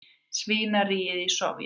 svínaríið í Sovét.